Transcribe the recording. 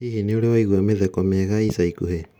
Hihi nĩ ũrĩ waigua mĩtheko mĩega ica ikuhĩ